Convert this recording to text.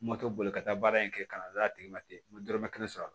Moto boli ka taa baara in kɛ ka n'a d'a tigi ma ten n ma dɔrɔmɛ kelen sɔrɔ a la